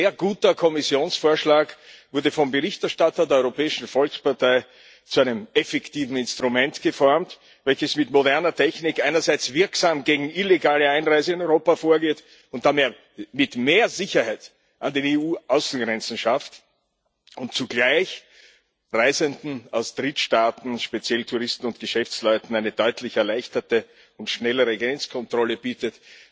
Ein sehr guter Kommissionsvorschlag wurde vom Berichterstatter der Europäischen Volkspartei zu einem effektiven Instrument geformt, das mit moderner Technik einerseits wirksam gegen illegale Einreise nach Europa vorgeht und damit mehr Sicherheit an den EU Außengrenzen schafft und zugleich Reisenden aus Drittstaaten speziell Touristen und Geschäftsleuten eine deutlich erleichterte und schnellere Grenzkontrolle bietet.